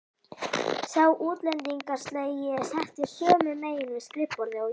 Sá útlendingslegi settist sömu megin við skrifborðið og ég.